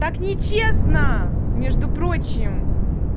так нечестно между прочим